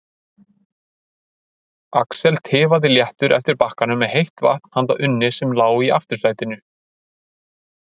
Axel tifaði léttur eftir bakkanum með heitt vatn handa Unni sem lá í aftursætinu.